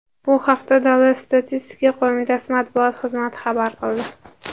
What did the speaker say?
Bu haqda Davlat statistika qo‘mitasi matbuot xizmati xabar qildi .